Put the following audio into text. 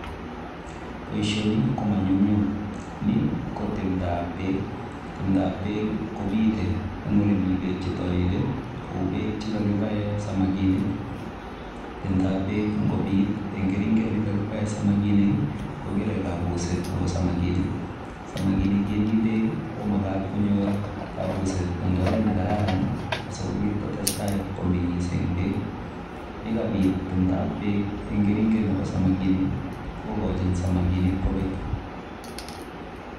Boisoni komanyunnyum ni ko timdaap beek , timdaap beek ii kobite eng ole beek che talili kou beek che kakimaen samakinik timdaap beek ingobiit en keringeet nekaibaen samakinik ko kerei kabuseet nebo samakinik, samakinik che Mii beek ii komagaat konyoor kabuseet eng oret ne kararan asikobiit kotesetai komengis eng beek ye kabiit timdaap beek eng keringeet nebo samakinik kogochin samakinik kobeek.